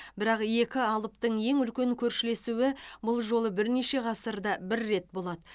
бірақ екі алыптың ең үлкен көршілесуі бұл жолы бірнеше ғасырда бір рет болады